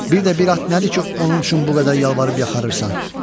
Bir də bir at nədir ki, onun üçün bu qədər yalvarıb yaxarırsan?